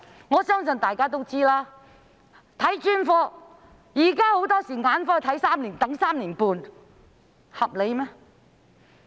我相信大家都知道，現時眼科要等候 3.5 年，合理嗎？